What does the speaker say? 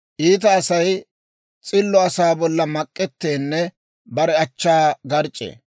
Iita Asay s'illo asaa bolla mak'etteenne bare achchaa garc'c'ee.